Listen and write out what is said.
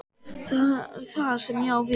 Það er það sem ég á við.